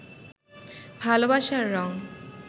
ভালবাসার রং